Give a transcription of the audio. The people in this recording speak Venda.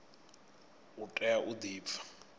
u tea u di pfa